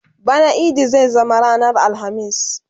bana idi zai zama ranar alhamis